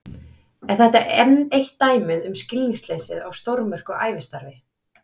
Er þetta enn eitt dæmið um skilningsleysið á stórmerku ævistarfi